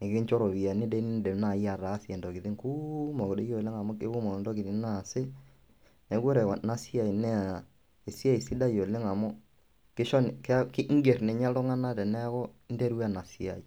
nekinjo ropiani dii niindim nai ataasie ntokitin kuumok doi oleng' amu kekumok ntokitin naasi. Neeku ore ena siai naa esiai sidai oleng' amu kisho ke iing'er ninye iltung'anak teneeku interua ena siai.